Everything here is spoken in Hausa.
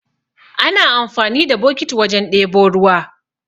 Ana amfani da bokiti wajen ɗebo ruwa